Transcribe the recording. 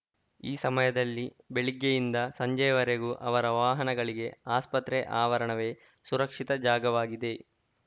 ಈ ಸಮಯದಲ್ಲಿ ಬೆಳಿಗ್ಗೆಯಿಂದ ಸಂಜೆಯವರೆಗೂ ಅವರ ವಾಹನಗಳಿಗೆ ಆಸ್ಪತ್ರೆ ಆವರಣವೇ ಸುರಕ್ಷಿತ ಜಾಗವಾಗಿದೆ